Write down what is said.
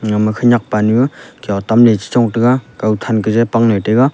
Yama khenyak panyu khiotamley chichongley taiga kawthan kaje pangnoi taiga.